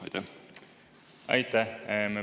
Aitäh!